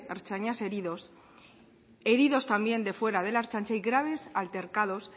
ertzainas heridos heridos también de fuera de la ertzaintza y graves altercados